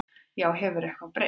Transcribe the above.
Já, hefur eitthvað breyst?